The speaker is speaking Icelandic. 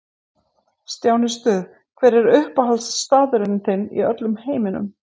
Stjáni Stuð Hver er uppáhaldsstaðurinn þinn í öllum heiminum?